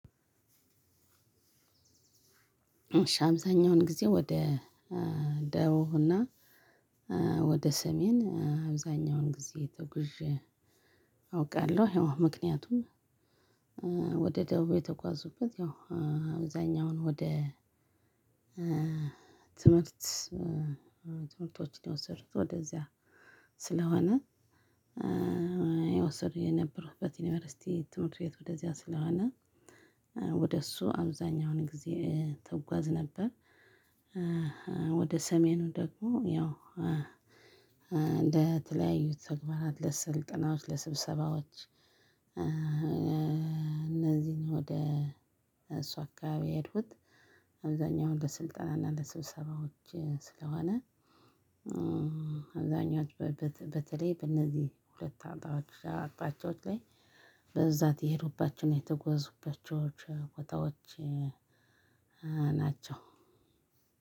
እሽ አብዛኜዉን ጊዜ ወደ ደቡብ እና ወደ ሰሜን አብዛኛውን ጊዜ ተጉዤ አውቃለሁ። የወ ምክንያቱም ወደ ደቡብ የተጓዙበት ያው አብዛኛውን ወደ ትምህርት ትምህርቶችን የወሰዱት ወደዚያ ስለሆነ እየወሰድኩት የነበሩበት ዩኒቨርሲቲ ትምህርት ቤት ወደዚያ ስለሆነ ወደ እሱ አብዛኛውን ጊዜ እጓዝ ነበር። ወደ ሰሜኑ ደግሞ ያው እንደተለያዩት ተግባራት ለስልጠናዎች ለስብሰባዎች እነዚህን ወደ እሷ አካባቢ የሄድኩት አብዛኛው ለስልጠና እና ለስብሰባዎች ስለሆነ አብዛኛዎች በተለይ በእነዚህ ሁለት አንጣዎች አቅጣጫዎች ላይ በዛ የሄዱባቸውን የተጎዙባቸው ቆ ቦታዎች ናቸው።